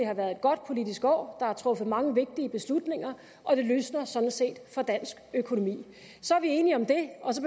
har været et godt politisk år der er truffet mange vigtige beslutninger og det lysner sådan set for dansk økonomi så er vi enige om det og så